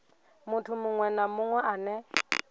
muthu munwe na munwe ane